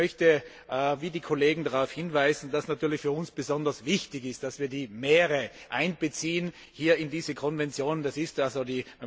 Ich möchte wie die Kollegen darauf hinweisen, dass natürlich für uns besonders wichtig ist, dass wir die Meere in diese Konvention einbeziehen.